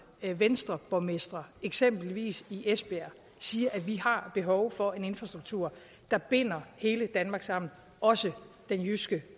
venstreborgmestre eksempelvis i esbjerg siger at vi har behov for en infrastruktur der binder hele danmark sammen også den jyske